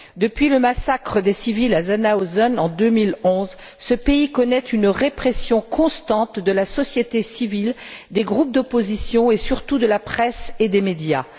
Depuis le massacre des civils à Zhanaozen, en 2011, ce pays connaît une répression constante de la société civile, des groupes d'opposition et, surtout, de la presse et des médias.